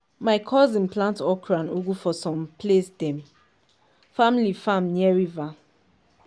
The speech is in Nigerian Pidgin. my cousin plant okro and ugu for same place dem family farm near river.